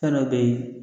Fɛn dɔ be ye